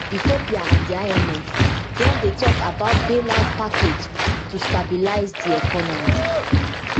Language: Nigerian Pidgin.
ethiopia and di imf don dey tok about bailout package to stabilise di economy